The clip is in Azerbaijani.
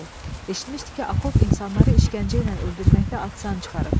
Eşitmişdi ki, Akop insanları işgəncə ilə öldürməkdə ad-san çıxarıb.